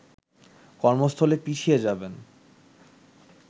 কর্মস্থলে পিছিয়ে যাবেন